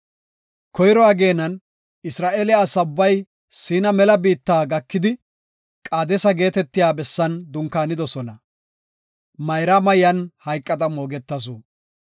Koyro ageenan Isra7eele asa ubbay Siina mela biitta gakidi, Qaadesa geetetiya bessan dunkaanidosona. Mayraama yan hayqada moogetasu.